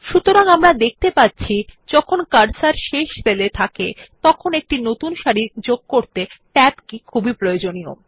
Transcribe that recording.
সুতরাং আমরা দেখতে পাচ্ছি যখন কার্সর শেষ সেল এ থাকে তখন একটি নতুন সারি যোগ করতে ট্যাব কি খুবই দরকারী